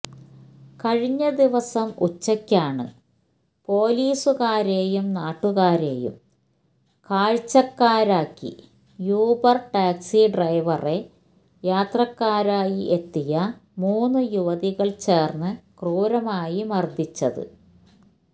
കഴിഞ്ഞദിവസം ഉച്ചയ്ക്കാണ് പോലീസുകാരെയും നാട്ടുകാരെയും കാഴ്ചക്കാരാക്കി യൂബര് ടാക്സി െ്രെഡവറെ യാത്രക്കാരായി എത്തിയ മൂന്നു യുവതികള് ചേര്ന്ന് ക്രൂരമായി മര്ദിച്ചത്